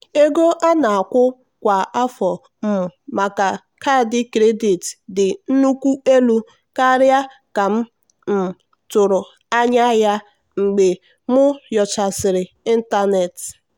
ego a na-akwụ kwa afọ um maka kaadị kredit dị nnukwu elu karịa ka m um tụrụ anya ya mgbe m nyochasịrị n'ịntanetị.